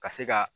Ka se ka